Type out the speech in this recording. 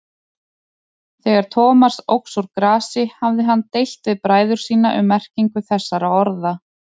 Þegar Thomas óx úr grasi hafði hann deilt við bræður sína um merkingu þessara orða.